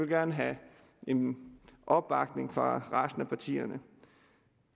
gerne have en opbakning fra resten af partierne